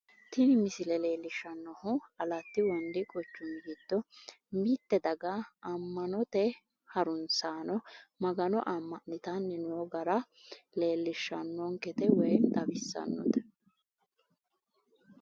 tini misile leellishshannohu alette wondi giddo mitte daga mitte daga ammanote harunsaano magano amma'nitanni noo gara leellishshannonkete woy xawissannonkete.